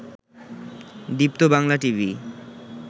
Deepto Bangla TV